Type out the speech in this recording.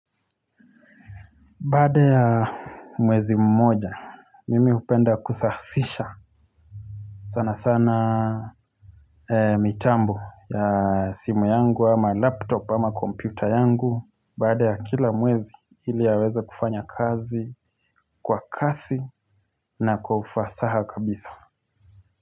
Baada ya mwezi mmoja, mimi hupenda kusahisisha sana sana mitambo ya simu yangu ama laptop ama komputa yangu. Baada ya kila mwezi ili yaweze kufanya kazi, kwa kasi na kwa ufasaha kabisa.